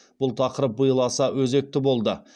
бұл тақырып биыл аса өзекті болды